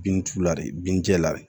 Bin t'u la de bin jɛ